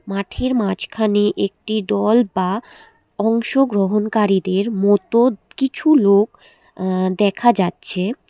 মাঠের মাঝখানে একটি দল বা অংশগ্রহণকারীদের মতো কিছু লোক আ্য দেখা যাচ্ছে।